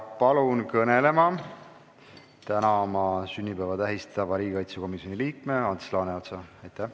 Palun kõnelema täna oma sünnipäeva tähistava riigikaitsekomisjoni liikme Ants Laaneotsa!